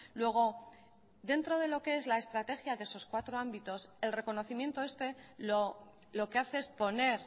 luego dentro de lo que es la estrategia de esos cuatro ámbitos el reconocimiento este lo que hace es poner